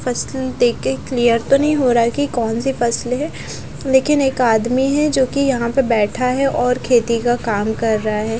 फसल देख के क्लियर तो नही हो रहा है की कौन सी फसल है लेकिन एक आदमी है जो कि यहाँ पे बेठा है और खेती का काम कर रहा है।